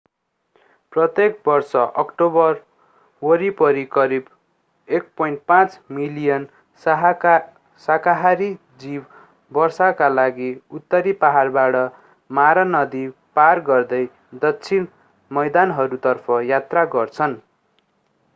प्रत्येक वर्ष अक्टोबर वरिपरि करिब 1.5 मिलियन साकाहारी जीव वर्षाका लागि उत्तरी पहाडबाट मारा नदी पार गर्दै दक्षिणी मैदानहरूतर्फ यात्रा गर्छन्